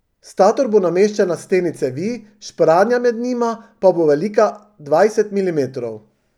Stator bo nameščen na steni cevi, špranja med njima pa bo velika dvajset milimetrov.